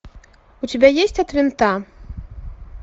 у тебя есть от винта